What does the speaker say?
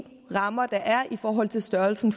rammer der er i forhold til størrelsen